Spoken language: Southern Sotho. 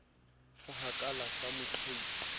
sa hakala sa mo qhautsa